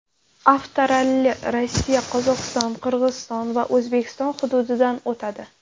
Avtoralli Rossiya, Qozog‘iston, Qirg‘iziston va O‘zbekiston hududidan o‘tadi.